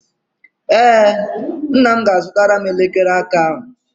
Ee, nna m ga-azụtara m elekere aka ahụ.